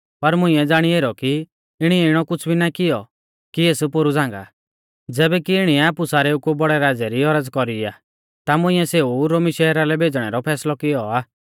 पर मुंइऐ ज़ाणी ऐरौ कि इणीऐ इणौ कुछ़ भी ना किऔ कि एस पोरु झ़ांगा ज़ैबै कि इणीऐ आपु सारेऊ कु बौड़ै राज़ै री औरज़ कौरी आ ता मुंइऐ सेऊ रोमी शहरा लै भेज़णै रौ फैसलौ कियौ आ